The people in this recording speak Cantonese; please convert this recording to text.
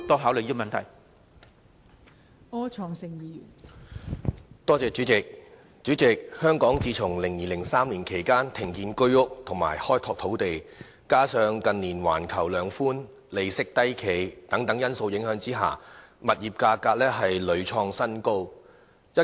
代理主席，香港自從2002年、2003年左右停止興建居者有其屋計劃單位及開拓土地，加上近年出現環球量化寬鬆和利息低企等因素，致使物業價格屢創新高。